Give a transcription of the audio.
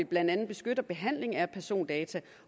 blandt andet beskytter behandling af persondata